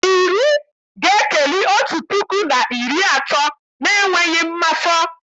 Iri ga-ekeli otu puku na iri atọ n'enweghị mmafọ